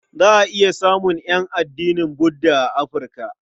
Za a iya samun ƴan addinin Budda a Afirka.